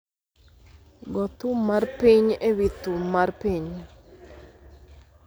Go thum mar piny e wi thum mar piny